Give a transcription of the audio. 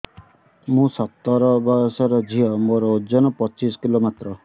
ମୁଁ ସତର ବୟସର ଝିଅ ମୋର ଓଜନ ପଚିଶି କିଲୋ ମାତ୍ର